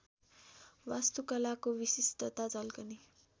वास्तुकलाको विशिष्टता झल्कने